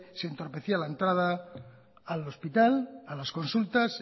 sí entorpecía la entrada al hospital a las consultas